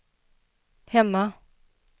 hemma